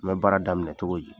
N bɛ baara daminɛ cogo di ?